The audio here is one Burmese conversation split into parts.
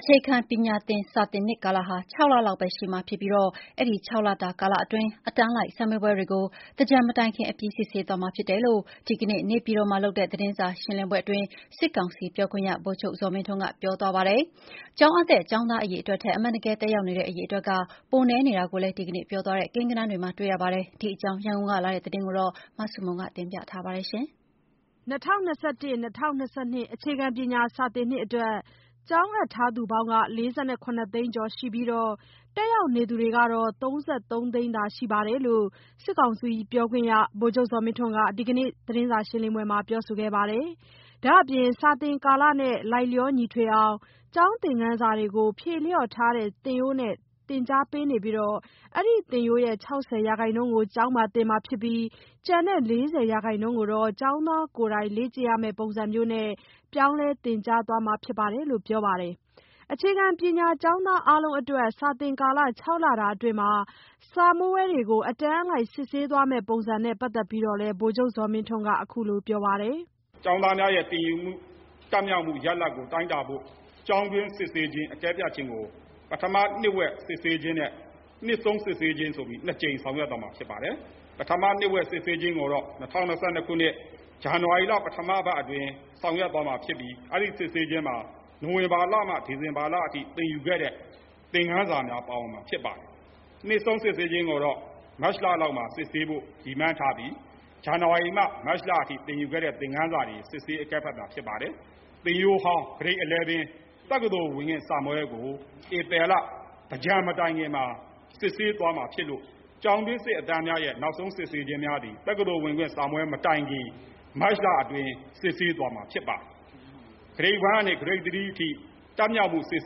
အခြေခံပညာစာသင်နှစ်ကာလဟာ ၆ လလောက်ပဲ ရှိမှာဖြစ်ပြီးတော့ အဲဒီ ၆ လတာကာလအတွင်း အတန်းလိုက် စာမေးပွဲတွေကို သင်္ကြန်မတိုင်ခင် အပြီးစစ်ဆေးသွားမှာဖြစ်တယ်လို့ ဒီကနေ့ နေပြည်တော်မှာလုပ်တဲ့ သတင်းစာရှင်းလင်းပွဲအတွင်း စစ်ကောင်စီပြောခွင့်ရ ဗိုလ်ချုပ်ဇော်မင်းထွန်းက ပြောသွားပါတယ်။ ကျောင်းအပ်တဲ့ ကျောင်းသားအရေအတွက်ထက် အမှန်တကယ် တက်ရောက်နေတဲ့ အရေအတွက်က ပိုနည်းနေတာကိုလည်း ဒီကနေ့ပြောသွားတဲ့ ကိန်းဂဏန်းတွေမှာ တွေ့ရပါတယ်။ ဒီအကြောင်း ရန်ကုန်ကလာတဲ့သတင်းကို မဆုမွန်က တင်ပြပေးထားပါတယ်။ ၂၀၂၁-၂၀၂၂ အခြေခံပညာ စာသင်နှစ်အတွက် ကျောင်းအပ်ထားသူပေါင်း ၄၇ သိန်းကျော်ရှိပြီးတော့ တက်ရောက်နေသူကတော့ ၃၃ သိန်းသာရှိတယ်လို့ စစ်ကောင်စီပြောခွင့်ရ ဗိုလ်ချုပ်ဇော်မင်းထွန်းက ဒီကနေ့ သတင်းစာရှင်းလင်းပွဲမှာ ပြောခဲ့ပါတယ်။ ဒါ့အပြင် စာသင်ကာလနဲ့ လိုက်လျောညီထွေအောင် ကျောင်းသင်ခန်းစာတွေကို ဖြေလျော့ထားတဲ့ သင်ရိုးနဲ့ သင်ကြားပေးနေပြီး အဲဒီသင်ရိုးရဲ့ ၆၀% ကို ဖြစ်ပြီးတော့ ကျန်တဲ့ ၄၀% ကိုတော့ ကျောင်းသားကိုယ်တိုင် လေ့ကျင့်ရမယ့်ပုံစံမျိုးနဲ့ ပြောင်းလဲသင်ကြားမှာ ဖြစ်တယ်လို့ ပြောပါတယ်။ အခြေခံပညာ ကျောင်းသားအားလုံးအတွက် စာသင်ကာလ ၆ လတာအတွင်း စာမေးပွဲတွေကို အတန်းအလိုက်စစ်ဆေးသွားမယ့် ပုံစံနဲ့ပတ်သက်ပြီးတော့လည်း ဗိုလ်ချုပ်ဇော်မင်းထွန်းက အခုလိုပြောပါတယ်။ "ကျောင်းသားများရဲ့ သင်ယူမှု၊ တတ်မြောက်မှု ရလဒ်ကိုတိုင်းတာဖို့ ကျောင်းတွင်း စစ်ဆေး အကဲဖြတ်ခြင်းကို ပထမနှစ်ဝက် စစ်ဆေးခြင်းနဲ့ နှစ်ဆုံးစစ်ဆေးခြင်းဆိုပြီး နှစ်ကြိမ် ဆောင်ရွက်သွားမှာ ဖြစ်ပါတယ်။ ပထမနှစ်ဝက် စစ်ဆေးခြင်းကိုတော့ ၂၀၂၂ ခုနှစ်၊ ဇန်နဝါရီလ ပထမပတ်အတွင်း ဆောင်ရွက်သွားမှာဖြစ်ပြီး အဲဒီစစ်ဆေးခြင်းမှာ နိုဝင်ဘာလမှ ဒီဇင်ဘာလအထိ သင်ယူခဲ့တဲ့ သင်ခန်းစာများ ပါဝင်မှာဖြစ်ပါတယ်။ နှစ်ဆုံးစစ်ဆေးခြင်းကိုတော့ မတ်လလောက်မှာ စစ်ဆေးဖို့ ရည်မှန်းထားပြီး ဇန်နဝါရီမှ မတ်လအထိ သင်ယူခဲ့တဲ့ သင်ခန်းစာတွေကို စစ်ဆေးအကဲဖြတ်တာ ဖြစ်ပါတယ်။ သင်ရိုးအဟောင်း Grade 11 တက္ကသိုလ်ဝင်ခွင့်စာမေးပွဲကို ဧပြီလ သင်္ကြန်မတိုင်ခင်မှာ စစ်ဆေးသွားမှာဖြစ်လို့ ကျောင်းတွင်းစစ်အတန်းများရဲ့ နောက်ဆုံးစစ်ဆေးခြင်းများသည် တက္ကသိုလ်ဝင်ခွင့်စာမေးပွဲမတိုင်ခင် မတ်လအတွင်း စစ်ဆေးသွားမှာ ဖြစ်ပါတယ်။ Grade 1 ကနေ Grade 3 အထိ တတ်မြောက်မှုစစ်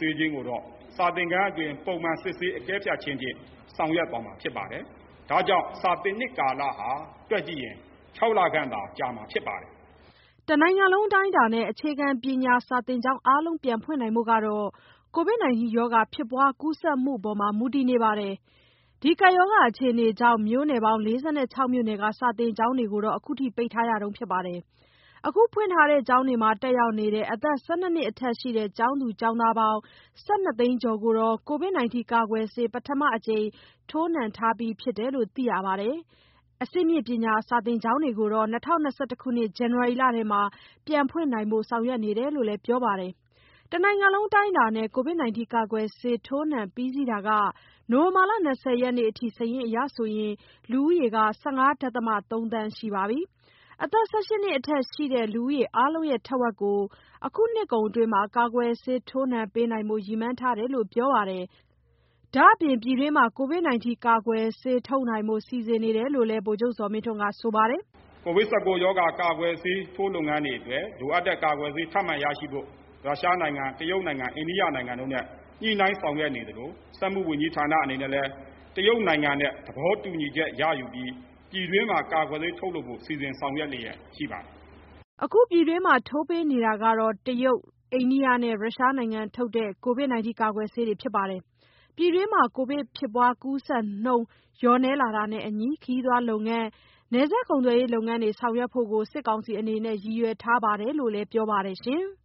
ဆေးခြင်းကိုတော့ စာသင်ခန်းအတွင်း ပုံမှန်စစ်ဆေးအကဲဖြတ်ခြင်းဖြင့် ဆောင်ရွက်သွားမှာဖြစ်ပါတယ်။ ဒါ့ကြောင့် စာသင်နှစ်ကာလဟာ တွက်ကြည့်ရင် ၆ လခန့်သာ ကြာမှာဖြစ်ပါတယ်။" တနိုင်ငံလုံးအတိုင်းအတာနဲ့ အခြေခံပညာသင် ကျောင်းအားလုံး ပြန်ဖွင့်နိုင်ဖို့ကတော့ ကိုဗစ်ဖြစ်ပွား ကူးစက်မှုပေါ် မူတည်နေပါတယ်။ ကပ်ရောဂါအခြေအနေကြောင့် မြို့နယ် ၄၆ မြို့နယ်က စာသင်ကျောင်းတွေကို အခုထိ ပိတ်ထားရတုန်းပါ။ အခုဖွင့်ထားတဲ့ ကျောင်းတွေမှာ တက်ရောက်နေတဲ့ အသက် ၁၂ နှစ်အထက်ရှိတဲ့ ကျောင်းသား၊ ကျောင်းသူပေါင်း ၁၂ သိန်းကျော်ကိုတော့ ကိုဗစ်ကာကွယ်ဆေး ပထမအကြိမ် ထိုးပြီးထားပြီလို့ သိရပါတယ်။ အဆင့်မြင့်ပညာကျောင်းတွေကိုတော့ ၂၀၂၂ ဇန်နဝါရီလထဲ ပြန်ဖွင့်နိုင်ဖို့ ဆောင်ရွက်နေတယ်လို့လည်း ပြောပါတယ်။ တနိုင်ငံလုံးအတိုင်းအတာနဲ့ ကိုဗစ်ကာကွယ်ဆေး ထိုးနှံပြီးစီးတာက နိုဝင်ဘာလ ၂၀ ရက်နေ့အထိ စာရင်းအရ လူဦးရေ ၁၅.၃ သန်းရှိပါပြီ။ အသက် ၁၈ နှစ်အထက်ရှိသူ လူဦးရေ အားလုံးရဲ့ ထက်ဝက်ကို အခုနှစ်ကုန်အတွင်း ကာကွယ်ဆေးထိုးပေးနိုင်ဖို့ ရည်မှန်းထားတယ်လို့ ပြောပါတယ်။ ဒါ့အပြင် ပြည်တွင်းမှာ ကိုဗစ်ကာကွယ်ဆေးထုတ်နိုင်ဖို့ စီစဉ်နေတယ်လို့လည်း ဗိုလ်ချုပ်ဇော်မင်းထွန်းကဆိုပါတယ်။ "COVID-19 ရောဂါ ကာကွယ်ဆေးထိုး လုပ်ငန်းတွေအတွက် လိုအပ်တဲ့ကာကွယ်ဆေး ထပ်မံရရှိဖို့ ရုရှားနိုင်ငံ၊ တရုတ်နိုင်ငံ၊ အိန္ဒိယနိုင်ငံတို့နဲ့ ညှိနှိုင်းဆောင်ရွက်နေသလို စက်မှုဝန်ကြီးဌာနအနေနဲ့လည်း တရုတ်နိုင်ငံနဲ့ သဘောတူညီချက်ရယူပြီး ပြည်တွင်းမှာ ကာကွယ်ဆေးထုတ်လုပ်ဖို့ စီစဉ်ဆောင်ရွက်လျက်ရှိပါတယ်။" အခုပြည်တွင်းမှာ ထိုးပေးနေတာက တရုတ်၊ အိန္ဒိယနဲ့ ရုရှားနိုင်ငံထုတ် ကိုဗစ်ကာကွယ်ဆေးတွေဖြစ်ပါတယ်။ ပြည်တွင်းမှာ ကိုဗစ်ဖြစ်ပွား ကူးစက်နှုန်း လျော့နည်းလာတာနဲ့အညီ ခရီးသွားလုပ်ငန်း၊ နယ်စပ်ကုန်သွယ်ရေးလုပ်ငန်းတွေ ဆောင်ရွက်ဖို့ကို စစ်ကောင်စီအနေနဲ့ ရည်ရွယ်ထားတယ်လို့လည်း ပြောပါတယ်။